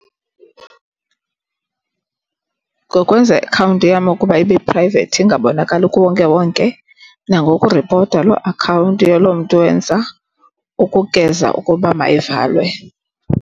Ngokwenza iakhawunti yam ukuba ibe prayivethi ingabonakali kuwonkewonke nangokuripota loo akhawunti yaloo mntu wenza ukugeza ukuba mayivalwe.